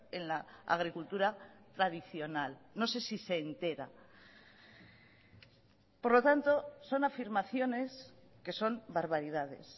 en la agricultura tradicional no sé si se entera por lo tanto son afirmaciones que son barbaridades